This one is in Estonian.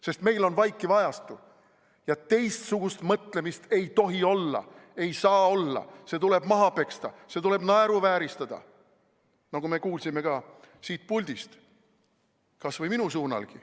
Sest meil on vaikiv ajastu ja teistsugust mõtlemist ei tohi olla, ei saa olla, see tuleb maha peksta, seda tuleb naeruvääristada, nagu me kuulsime ka siit puldist kas või minu pihta.